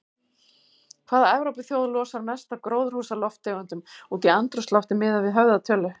Hvaða Evrópuþjóð losar mest af gróðurhúsalofttegundum út í andrúmsloftið miðað við höfðatölu?